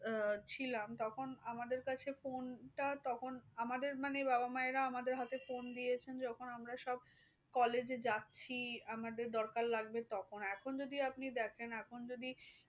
আহ ছিলাম, তখন আমাদের কাছে phone টা তখন আমাদের মানে বাবা মায়েরা আমাদের হাতে phone দিয়েছেন। যখন আমরা সব collage এ যাচ্ছি আমাদের দরকার লাগবে তখন। এখন যদি আপনি দেখেন এখন যদি